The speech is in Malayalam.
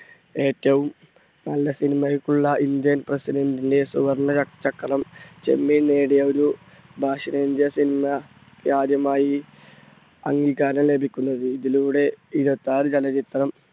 ഏറ്റവും നല്ല cinema യ്ക്കുള്ള indian president ന്റെ സുവർണ്ണ ച~ചക്രം ചെമ്മീൻ നേടിയ ഒരു ആദ്യമായി അംഗീകാരം ലഭിക്കുന്നത്. ഇതിലൂടെ ഇരുപത്താറ് ചലച്ചിത്രം